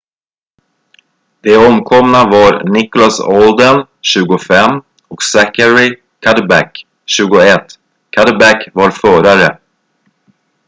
de omkomna var nicholas alden 25 och zachary cuddeback 21 cuddeback var förare